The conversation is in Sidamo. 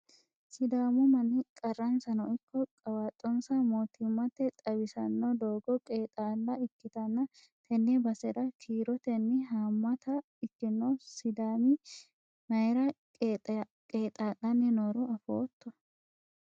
sidaamu manni qarransano ikko qawaaxxonsa mootimmate xawisanno doogo qeexaala ikkitanna, tenne basera kiirotenni haammata ikkino sidaami mayira qeexaa'lanni nooro afootto ?